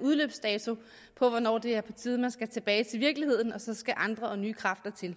udløbsdato for hvornår det er på tide at man skal tilbage til virkeligheden og der så skal andre og nye kræfter til